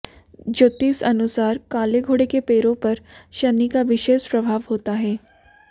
ज्योतिष अनुसार काले घोड़े के पैरों पर शनि का विशेष प्रभाव होता है